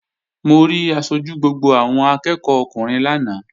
Mo rí aṣojú gbogbo àwọn akẹ́ẹ̀kọ́ ọkùnrin lánàá